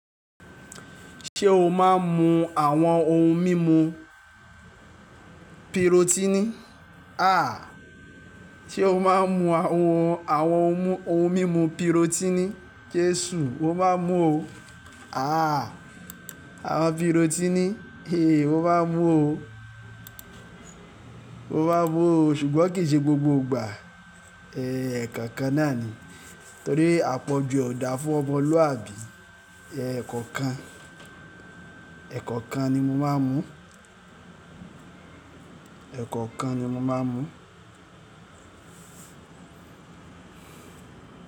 Ṣé o máa ń mu àwọn ohun mímu pirotini? A, ṣe o máa ń mu àwọn ohun mímu pirotini? Jesù, mo máa ń mu o. A, àwọn pirotini, e mo máa ń mu o, máa ń mu o ṣùgbọ́n kì í ṣe gbogbo ìgbà. E, ẹ̀ẹ̀kọ̀kan náà ni. Torí àpọ̀jù ọ̀dà fún ọmọlúwàbí. E, ẹ̀ẹ̀kọ̀kan, ẹ̀ẹ̀kọ̀kan ni mo máa ń mu. Ẹ̀ẹ̀kọ̀kan ni mo máa ń mu.